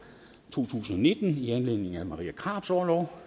to tusind og nitten i anledning af marie krarups orlov